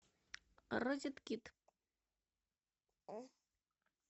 розет кит